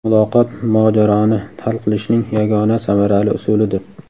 Muloqot mojaroni hal qilishning yagona samarali usulidir.